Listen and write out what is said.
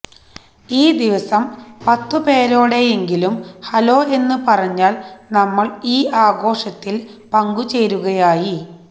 ഈ ദിവസം പത്തുപേരോടെങ്കിലും ഹലോ എന്നു പറഞ്ഞാല് നമ്മള് ഈ ആഘോഷത്തില് പങ്കുചേരുകയായി